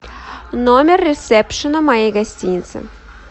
номер ресепшена моей гостиницы